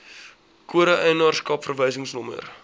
kode eienaarskap verwysingsnommer